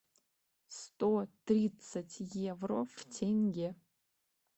сто тридцать евро в тенге